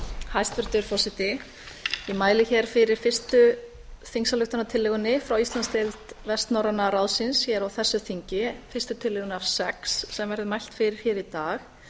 hæstvirtur forseti ég mæli hér fyrir fyrstu þingsályktunartillögunni frá íslandsdeild vestnorræna ráðsins á þessu þingi fyrstu tillögunni af sex sem verður mælt fyrir hér í dag